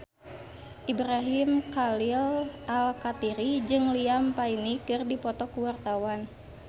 Ibrahim Khalil Alkatiri jeung Liam Payne keur dipoto ku wartawan